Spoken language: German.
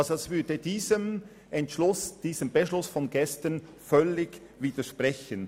Eine Annahme dieser Planungserklärung würde dem Beschluss von gestern völlig widersprechen.